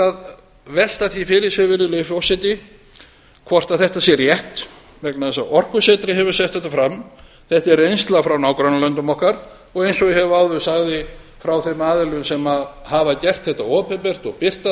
að velta því fyrir sér virðulegi forseti hvort þetta sé rétt vegna þess að orkusetrið hefur sett fram þetta er reynsla frá nágrannalöndum okkar og eins og ég áður sagði frá þeim aðilum sem hafa gert þetta opinbert og birta